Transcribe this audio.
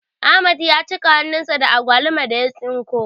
Ahmad ya cika hannun sa da agwalumar da ya tsinko